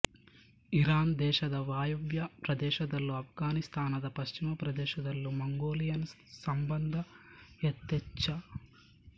Iran ದೇಶದ ವಾಯವ್ಯ ಪ್ರದೇಶದಲ್ಲೂ ಆಫ್ಘಾನಿಸ್ತಾನದ ಪಶ್ಚಿಮ ಪ್ರದೇಶದಲ್ಲೂ ಮಂಗೋಲಿಯನ್ ಸಂಬಂಧ ಯಥೇಚ್ಛ